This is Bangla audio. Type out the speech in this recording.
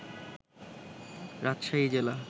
রাজশাহী জেলা